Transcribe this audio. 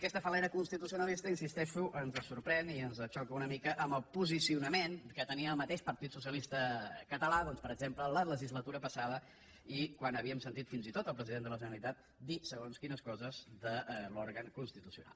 aquesta fal·lera constitucionalista hi insisteixo ens sorprèn i ens xoca una mica amb el posicionament que tenia el mateix partit socialista català doncs per exemple la legislatura passada i quan havíem sentit fins i tot el president de la generalitat dir segons quines coses de l’òrgan constitucional